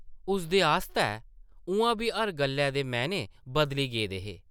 उसदे आस्तै उʼआं बी हर गल्लै दे मैह्ने बदली गेदे हे ।